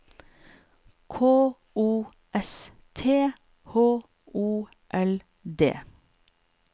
K O S T H O L D